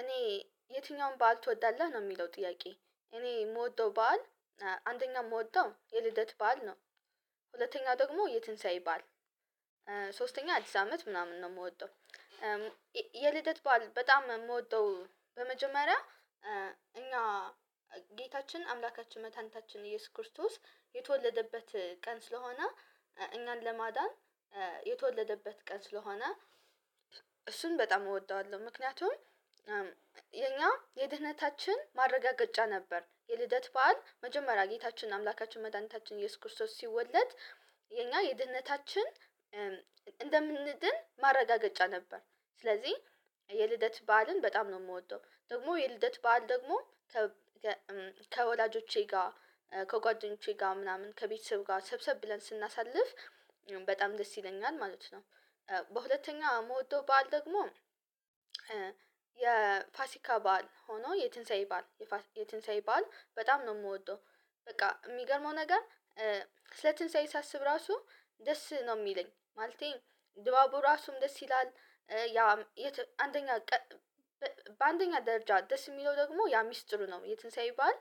እኔ የትኛውን በዓል ትወዳለህ ነው የሚለው ጥያቄ እኔ የምወደው በዓል። አንደኛ የምወደው የልደት በዓል ነው። ሁለተኛ ደግሞ የትንሳኤ በዓል። ሶስተኛ አዲስ አመት ምናምን ነው የምወደው። የልደት በዓል በጣም የምወደው በመጀመሪያ። እኛ ጌታችን አምላካችን መድሃኒታች ኢየሱስ ክርስቶስ የተወለደበት ቀን ስለሆነ እኛን ለማዳን የተወለደበት ቀን ስለሆነ። እሱን በጣም እወደዋለሁ ምክንያቱም። የኛ የድህነታችን ማረጋገጫ ነበር የልደት በዓል መጀመሪያ ጌታችን አምላካችን መድኃኒታችን ኢየሱስ ክርስቶስ ሲወለድ። የኛ የድህነታችን እንደምንድን ማረጋገጫ ነበር። ስለዚህ የልደት በዓልን በጣም ነው የምወደው። ደግሞ የልደት በዓል ደግሞ ከ ከወላጆቼ ጋር ከጓደኞቼ ጋር ምናምን ከቤተሰብ ጋር ሰብሰብ ብለን ስናሳልፍ በጣም ደስ ይለኛል ማለት ነው። በሁለተኛው የምወደው በዓል ደግሞ። የፋሲካ በዓል ሆኖ የትንሳኤ በዓል። የትንሳኤ በዓል በጣም ነው የምወደው። በቃ የሚገርመው ነገር። ስለ ትንሳኤ ሲያስብ ራሱ ደስ ነው የሚለኝ ማለቴ ድባቡ ራሱም ደስ ይላል። ያ አንደኛ በአንደኛ ደረጃ ደስ የሚለው ደግሞ ያ ሚስጥሩ ነው የትንሳኤ በዓል።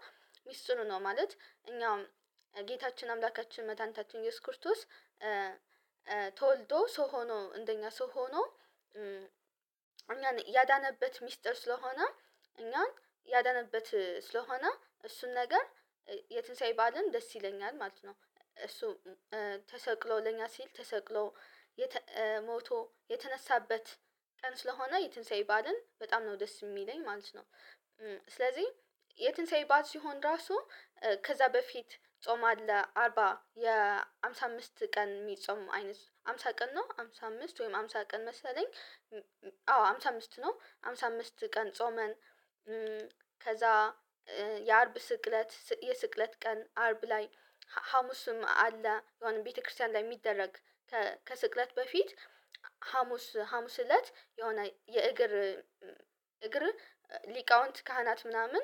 ሚስጥሩ ነው ማለት እኛም ጌታችን አምላካችን መድኃኒታችን ኢየሱስ ክርቶስ። ተወልዶ ሰው ሆኖ እንደኛ ሰው ሆኖ። እኛ ያዳነበት ሚስጥር ስለሆነ። እኛን ያዳነበት ስለሆነ እሱን ነገር የትንሳኤ በዓልም ደስ ይለኛል ማለት ነው። እሱ ተሰቅሎ ለኛ ሲል ተሰቅሎ ሞቶ የተነሳበት ቀን ስለሆነ የትንሳኤ በዓልም በጣም ነው ደስ የሚለኝ ማለት ነው። ስለዚህ የትንሳኤ በዓል ሲሆን ራሱ ከዛ በፊት ጾም አለ አርባ የአምሳ አምስት ቀን የሚጾም አይነት ሃምሳ ቀን ነው ሃምሳ አምስት ወይም ሃምሳ ቀን መሰለኝ። አዎ ሃምሳ አምስት ነው ሃምሳ አምስት ቀን ጾመን። ከዛ የአርብ ስቅለት የስቅለት ቀን አርብ ላይ ሀሙስም አለ የሆነ ቤተክርስቲያን ላይ የሚደረግ። ከስቅለት በፊት ሀሙስ እለት የሆነ የእግር እግር ሊቃውንት ካህናት ምናምን።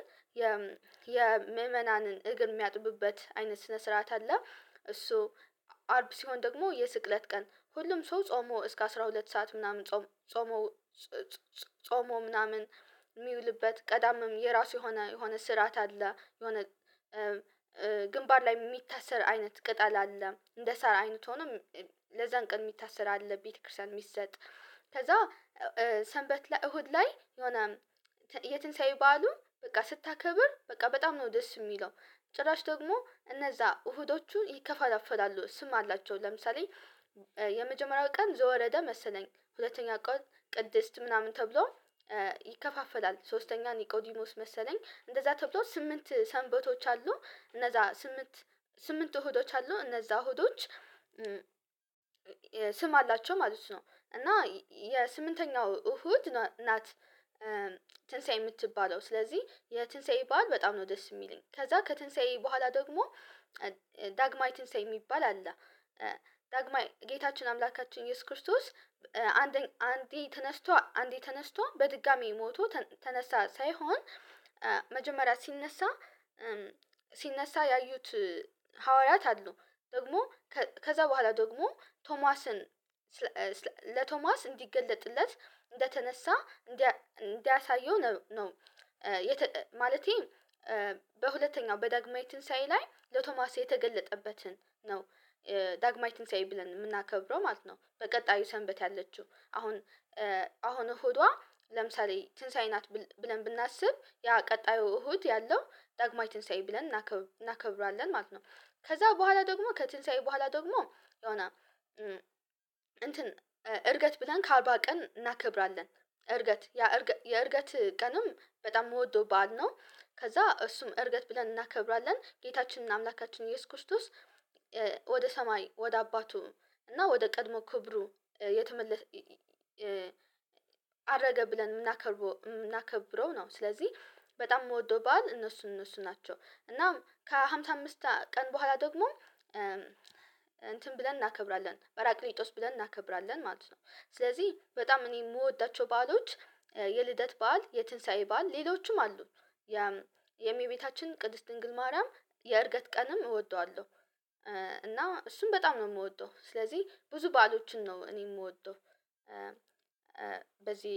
የምእመናንን እግር የሚያጥቡበት አይነት ስነ ስርዓት አለ። እሱ አርብ ደግሞ የስቅለት ቀን ሁሉም ሰው ጾሞ እስከ አስራ ሁለት ሰዓት ምናምን ጾሞ። ጾሞ ምናምን የሚውልበት ቀዳምም የራሱ የሆነ የሆነ ስርዓት አለ። የሆነ ግንባር ላይ የሚታሰር አይነት ቅጠል አለ እንደ ሰር አይነት ሆኖ ለዛን ቀን የሚታሰር አለ ቤተክርስቲያን የሚሰጥ። ከዛ ሰንበት ለእሁድ ላይ የሆነ የትንሳኤ በዓሉ በቃ ስታከብር በቃ በጣም ነው ደስ የሚለው። ጭራሽ ደግሞ እነዛ እሁዶቹ ይከፋፈላሉ ስም አላቸው ለምሳሌ። የመጀመሪያው ቀን ዘወረደ መሰለኝ ሁለተኛ ቀን ቅድስት ምናምን ተብሎ። ይከፋፈላል ሶስተኛ ኒቆዲኖስ መሰለኝ እንደዛ ተብሎ ስምንት ሰንበቶች አሉ እነዛ ስምንት ስምንት ሁዶች አሉ እነዛ ሁዶች። ስም አላቸው ማለት ነው እና የስምንተኛው እሁድ ናት። ትንሳኤ የምትባለው ስለዚህ የትንሳኤ በዓል በጣም ነው ደስ የሚለኝ ከዛ ከትንሳኤ በኋላ ደግሞ ዳግማይ ትንሳኤ የሚባል አለ። ዳግማይ ጌታችን አምላካችን ኢየሱስ ክርስቶስ አንዴ አንዴ ተነስቶ አንዴ ተነስቶ በድጋሚ ሞቶ ተነሳ ሳይሆን። መጀመሪያ ሲነሳ ሲነሳ ያዩት ሐዋርያት አሉ ደግሞ ከዛ በኋላ ደግሞ ቶማስን ለቶማስ እንዲገለጥለት እንደተነሳ እንዳያሳየው ነው። ማለቴ በሁለተኛው በዳግማይ ትንሳኤ ላይ ለቶማስ የተገለጠበትን ነው። ዳግማይ ትንሳኤ ብለን የምናከብረው ማለት ነው። በቀጣዩ ሰንበት ያለችው አሁን አሁን እሁዷ ለምሳሌ ትንሳኤ ናት ብለን ብናስብ ያ ቀጣዩ እሁድ ያለው ዳግማዊ ትንሳኤ ብለን እናከብራለን ማለት ነው። ከዛ በኋላ ደግሞ ከትንሳኤ በኋላ ደግሞ የሆነ እንትን እርገት ብለን ከአርባ ቀን እናከብራለን። እርገት ያ የእርገት ቀንም በጣም የምወደው በዓል ነው ከዛ እሱም እርገት ብለን እናከብራለን ጌታችንና አምላካችን ኢየሱስ ክርስቶስ። ወደ ሰማይ ወደ አባቱ እና ወደ ቀድሞ ክብሩ የተመለሰ አረገ ብለን የምናከብረው ነው። ስለዚህ በጣም የምወደው በዓል እነሱን እነሱን ናቸው እናም ከሃምሳ አምስት ቀን በኋላ ደግሞ እንትን ብለን እናከብራለን በራቅሊጦስ ብለን እናከብራለን ማለት ነው። ስለዚህ በጣም እኔ የምወዳቸው በዓሎች የልደት በዓል የትንሳኤ በዓል ሌሎችም አሉ። የእመቤታችን ቅድስት ድንግል ማርያም የእርገት ቀንም እወደዋለሁ። እና እሱም በጣም ነው የምወደው ስለዚህ ብዙ በዓሎችን ነው እኔ የምወደው። በዚህ